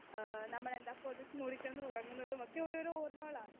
Speaker 2 ഏഹ് നമ്മളെന്താ പൊതച്ച് മൂടി കിടന്ന് ഉറങ്ങുന്നതുമൊക്കെ ഓരോരോ ഓർമകളാണ്.